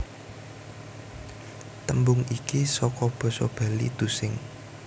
Tembung iki saka basa Bali tusing